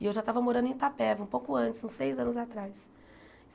E eu já estava morando em Itapeva, um pouco antes, uns seis anos atrás.